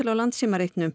á